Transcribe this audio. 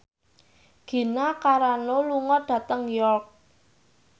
Gina Carano lunga dhateng York